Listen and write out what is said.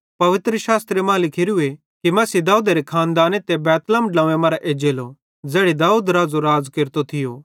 पवित्रशास्त्र मां लिखोरू कि मसीह दाऊदेरे खानदाने ते बैतलहम ड्लव्वें मरां एज्जेलो ज़ैड़ी दाऊद राज़ो रातो थियो